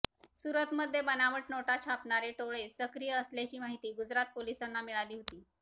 सूरतमध्ये बनावट नोटा छापणारे टोळे सक्रिय असल्याची माहिती गुजरात पोलिसांना मिळाली होती